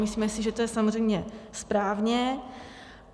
Myslíme si, že to je samozřejmě správně.